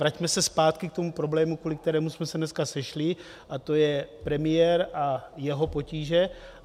Vraťme se zpátky k tomu problému, kvůli kterému jsme se dneska sešli, a to je premiér a jeho potíže.